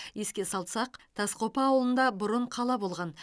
еске салсақ тасқопа ауылында бұрын қала болған